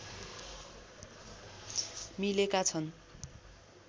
मिलेका छन्